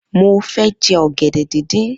Mo fẹ́ jẹ ọ̀gẹ̀dẹ̀ díndín.